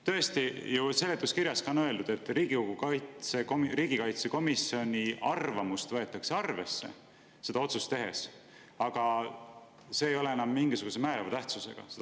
Tõesti, seletuskirjas on öeldud, et Riigikogu riigikaitsekomisjoni arvamust võetakse otsust tehes arvesse, aga see arvamus ei ole siis enam määrava tähtsusega.